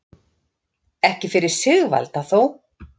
Ekki fyrir Sigvalda þó.